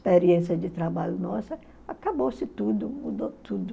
experiência de trabalho nossa, acabou-se tudo, mudou tudo.